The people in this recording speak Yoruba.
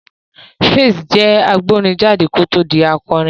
Pheelz jẹ́ agbórin jáde kó tó di akọrin